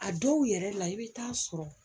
A dɔw yɛrɛ la i bɛ taa sɔrɔ